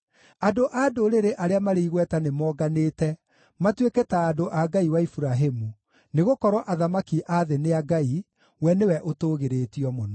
Andũ a ndũrĩrĩ arĩa marĩ igweta nĩmonganĩte matuĩke ta andũ a Ngai wa Iburahĩmu, nĩgũkorwo athamaki a thĩ nĩ a Ngai; we nĩwe ũtũũgĩrĩtio mũno.